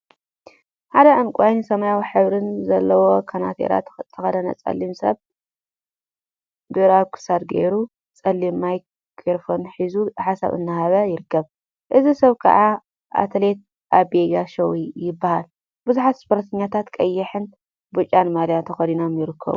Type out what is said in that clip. ሓደ ዕንቋይን ሰማያዊን ሕብሪ ዘለዎ ከናቲራ ዝተከደነ ፀሊም ሰብ ብሪ አብ ክሳዱ ገይሩ ፀሊም ማይ ክሮፎን ሒዙ ሓሳብ እናሃበ ይርከብ። እዚ ሰብ ከዓ አትሌት አቤ ጋሻው ይበሃል። ቡዙሓት ስፖርተኛታት ቀይሕን ብጫን ማልያ ተከዲኖም ይርከቡ።